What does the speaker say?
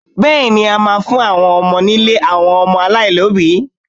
Bẹ́ẹ̀ni, a máa fún àwọn ọmọ nílé àwọn ọmọ aláìlóbìí.